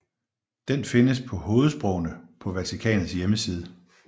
Den findes på hovedsprogene på Vatikanets hjemmeside